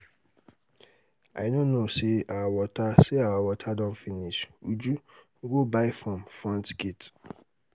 i no know say our water say our water don finish. uju go buy from front gate